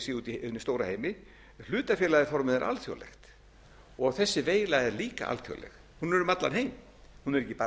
hinum stóra heimi hlutafélagaformið er alþjóðlegt þessi veila er líka alþjóðleg hún er um allan heim hún er